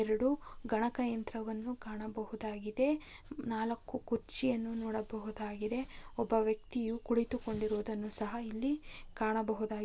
ಎರೆಡು ಗಣಕಯಂತ್ರವನ್ನು ಕಾಣಬಹುದಾಗಿದೆ ನಾಲ್ಕು ಕುರ್ಚಿಯನ್ನು ನೋಡಬಹುದಾಗಿದೆ ಒಬ್ಬ ವ್ಯಕ್ತಿಯು ಕುಳಿತುಕೊಂಡಿರುವುದನ್ನು ಸಹ ಇಲ್ಲಿ ಕಾಣಬಹುದು--